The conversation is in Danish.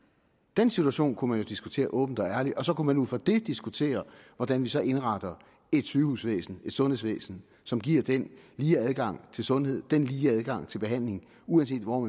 den situation kunne man jo diskutere åbent og ærligt og så kunne man ud fra det diskutere hvordan vi så indretter et sygehusvæsen et sundhedsvæsen som giver den lige adgang til sundhed den lige adgang til behandling uanset hvor